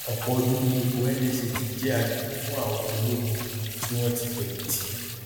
òpò ọdún ni ipò nsa ti jẹ àgbègbè fún àwọn ológun tí wọn ti fẹyìn tì